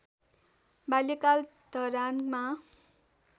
बाल्यकाल धरानमा